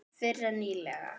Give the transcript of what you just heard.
Fyrr en nýlega.